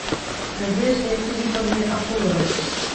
надежде филипповне акуловой